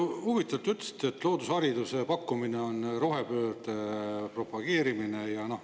Huvitav, te ütlesite, et loodushariduse pakkumine on rohepöörde propageerimine.